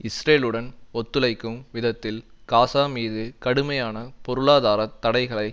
இஸ்ரேலுடன் ஒத்துழைக்கும் விதத்தில் காசா மீது கடுமையான பொருளாதார தடைகளை